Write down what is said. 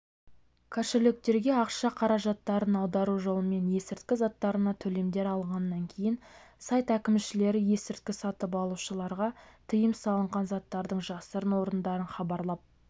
кошелектерге ақша қаражаттарын аудару жолымен есірткі заттарына төлемдер алғаннан кейін сайт әкімшілері есірткі сатып алушыларға тыйым салынған заттардың жасырын орындарын хабарлап